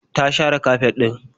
Ta share kafet ɗin.